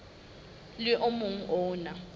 le o mong o na